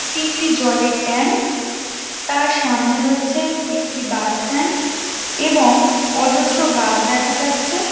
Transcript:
এটি একটি জলের ট্যাঙ্ক | তার সামনে রয়েছে একটি বাস স্ট্যান্ড এবং অজস্র গাছ দেখা যাচ্ছে ।